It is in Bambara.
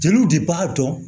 Jeliw de b'a dɔn